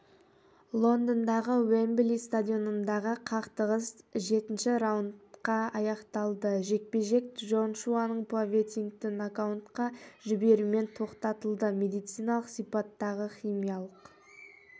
лондондағы уэмбли стадионындағы қақтығыс жетінші раундта аяқталды жекпе-жек джошуаның поветкинді нокаутқа жіберуімен тоқтатылды медициналық сипаттағы химиялық